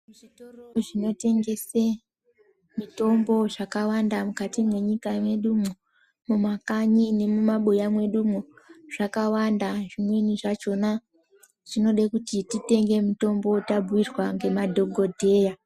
Muzvitoro zvinotengese mitombo zvakawanda mukati menyika mwedumwo mumakanyi nemumabuya mwedumwo zvakawanda. Zvimweni zvachona zvinoda kuti titenge mutombo tabhuirwa ngemadhogodheya.